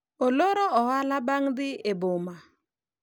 oloro ohala bang' dhi e boma